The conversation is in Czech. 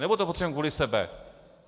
Nebo to potřebujeme kvůli sobě?